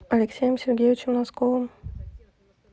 алексеем сергеевичем носковым